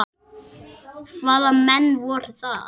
Hvaða menn voru það?